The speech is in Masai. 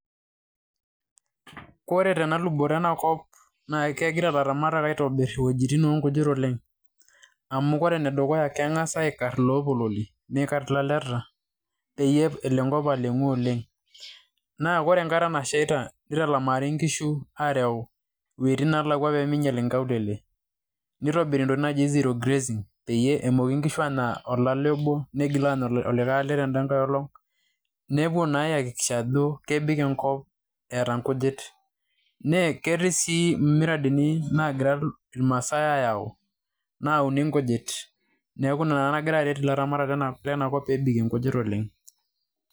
kore telubuto ena enkop na kengira ilaramatak aitobik iweujitin onkujit oleng, amu ore ene dukuya na kengas aikar ilopololi, nikar ilaleta pelo enkop alengu oleng, naa kore enkata naishaita nitalamari inkushu arew iweujitin nalakua pe ninyial inkaulele ,nitobiri intokitin najii zero grazing, peyie emoki inkishu anya olale obo ,neigil olikae ale tedangae olong nepuo ayakikisha ajo kebik enkop eta inkujit, naa keti si imiradani na kira ilmasaai ayau, nauni inkujit niaku ina nagira aret ilaramata lenakop peyie ebikie inkujit oleng,